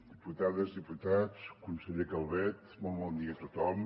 diputades i diputats conseller calvet molt bon dia a tothom